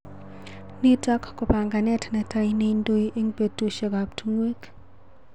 nitok ko panganet netai neindoi eng betushek ab tungwek